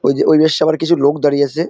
ওই যে ওই বেশ আবার কিছু লোক দাঁড়িয়ে আছে।